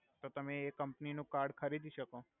તો તમે એ કમ્પની નુ કાર્ડ ખરીદી સકો